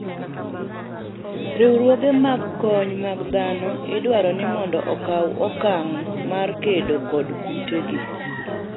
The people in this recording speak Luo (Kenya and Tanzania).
riwruoge mag kony mag dhano idwaro ni mondo okaw okang mar kedo kod kute gi